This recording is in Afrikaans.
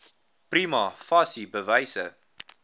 prima facie bewyse